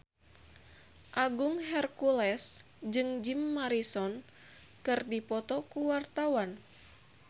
Agung Hercules jeung Jim Morrison keur dipoto ku wartawan